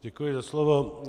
Děkuji za slovo.